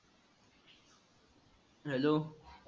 hello